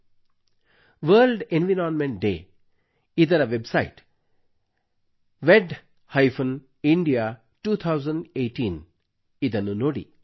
ವಿಶ್ವ ಪರಿಸರ ದಿನಾಚರಣೆ ವರ್ಲ್ಡ್ ಎನ್ವೈರನ್ಮೆಂಟ್ ಡೇ ಸೆಲೆಬ್ರೇಷನ್ ಇದರ ವೆಬ್ ಸೈಟ್ wedindia2018 ನ್ನು ನೋಡಿ